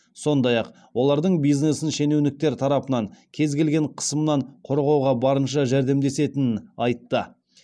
сондай ақ олардың бизнесін шенеуніктер тарапынан кез келген қысымнан қорғауға барынша жәрдемдесетінін айтты